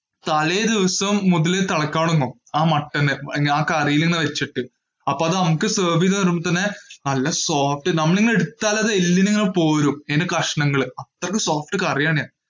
തലേ ദിവസം മുതല് തിളയ്ക്കാൻ തുടങ്ങും. ആ മട്ടൺ, ആ കറിയിൽ ഇങ്ങനെ വെച്ചിട്ടു. അപ്പോ അത് നമ്മുക് serve ചെയ്തു തരുമ്പോ തന്നെ, നല്ല soft, നമ്മൾ അത് എടുത്താൽ അത് എല്ലിൽ നിന്ന് ഇങ്ങനെ പോരും. അത്രയ്ക്ക് soft കറി ആണേ.